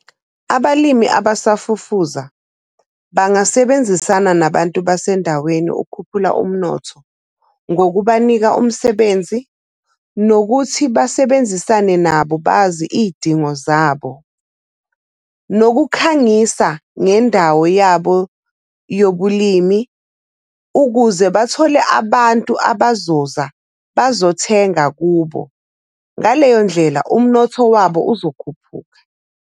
Abalimi abasafufuza bangasebenzisana nabantu basendaweni ukukhuphula umnotho, ngokubanika umsebenzi, nokuthi basebenzisane nabo bazi iy'dingo zabo. Nokukhangisa ngendawo yabo yobulimi ukuze bathole abantu abazoza bazothenga kubo. Ngaleyo ndlela umnotho wabo uzokhuphuka.